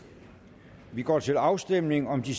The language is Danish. og vi går til afstemning om de